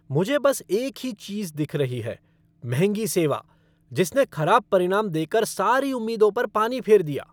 मुझे बस एक ही चीज़ दिख रही है, महंगी सेवा जिसने खराब परिणाम देकर सारी उम्मीदों पर पानी फेर दिया।